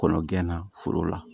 Kɔnɔ gɛnna foro la